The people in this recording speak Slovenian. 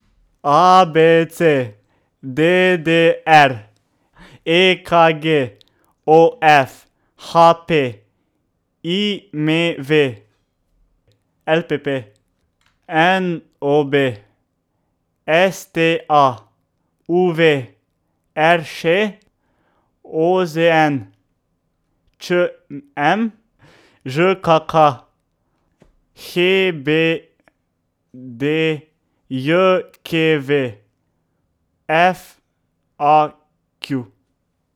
A B C; D D R; E K G; O F; H P; I M V; L P P; N O B; S T A; U V; R Š; O Z N; Č M; Ž K K; H B D J K V; F A Q.